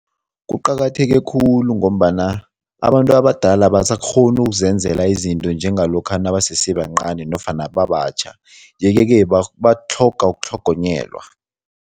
Kuqakatheke khulu ngombana abantu abadala abasakghoni ukuzenzela izinto njengalokha nabasese bancani nofana babatjha yeke-ke batlhoga ukutlhogonyelwa.